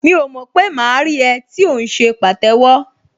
Mi ò mọ̀ pé máa rí ẹ tí ò ń ṣe pàtẹ́wọ́